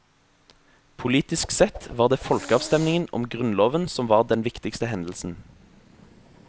Politisk sett var det folkeavstemmingen om grunnloven som var den viktigste hendelsen.